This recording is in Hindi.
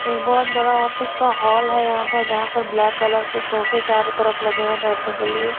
एक बहोत बड़ा ऑफिस का हॉल है यहाँ पर जहा पर ब्लैक कलर सोफे चारो तरफ लगे है बैठने के लिए।